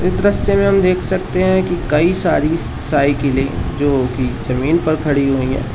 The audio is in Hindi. इस दृश्य में हम देख सकते हैं कि कई सारी साइकिले जोकि जमीन पर खड़ी हुई हैं।